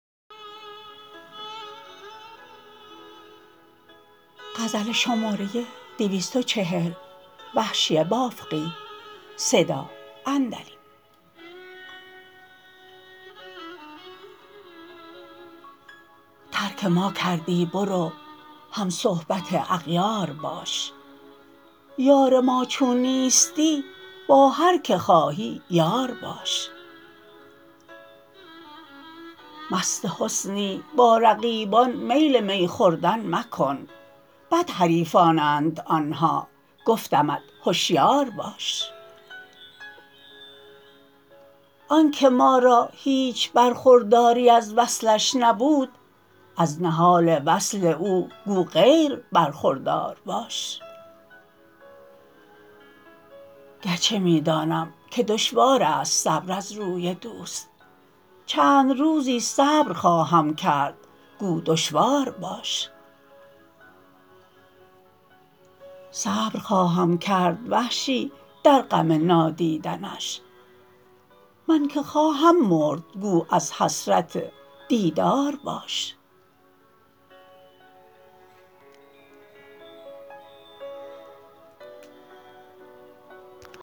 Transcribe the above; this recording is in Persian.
ترک ما کردی برو هم صحبت اغیار باش یار ما چون نیستی با هر که خواهی یار باش مست حسنی با رقیبان میل می خوردن مکن بد حریفانند آنها گفتمت هشیار باش آنکه ما را هیچ برخورداری از وصلش نبود از نهال وصل او گو غیر برخوردار باش گرچه می دانم که دشوار است صبر از روی دوست چند روزی صبر خواهم کرد گو دشوار باش صبر خواهم کرد وحشی در غم نادیدنش من که خواهم مرد گو از حسرت دیدار باش